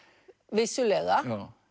vissulega